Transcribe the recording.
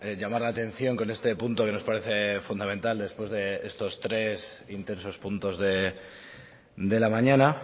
llamar la atención con este punto que nos parece fundamental después de estos tres intensos puntos de la mañana